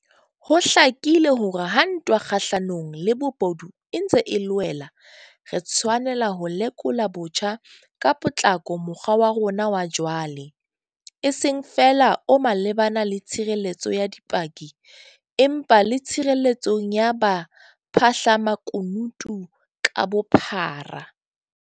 Ho hlakile hore ha ntwa kgahlanong le bobodu e ntse e loela, re tshwanela ho lekola botjha ka potlako mokgwa wa rona wa jwale, e seng feela o malebana le tshireletso ya dipaki, empa le tshireletsong ya baphahlamakunutu ka bophara.